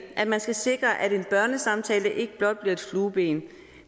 at man skal sikre at en børnesamtale ikke blot bliver et flueben